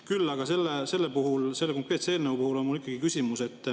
Küll aga selle konkreetse eelnõu puhul on mul ikkagi küsimus.